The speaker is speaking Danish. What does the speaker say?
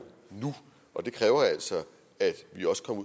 nu og det kræver altså at vi også kommer